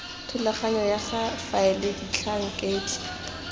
thulaganyo ya go faela batlhankedi